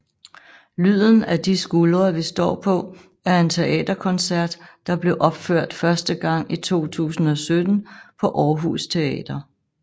Lyden af de skuldre vi står på er en teaterkoncert der blev opført første gang i 2017 på Aarhus Teater